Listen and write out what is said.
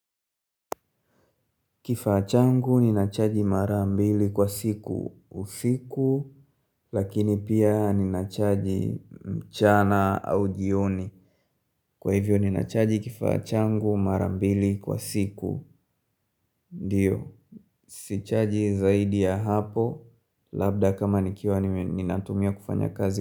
Kifaa changu ninachaji mara mbili kwa siku, usiku, lakini pia ninachaji mchana au jioni. Kwa hivyo ninachaji kifaa changu mara mbili kwa siku, diyo. Sichaji zaidi ya hapo, labda kama nikiwa ninatumia kufanya kazi.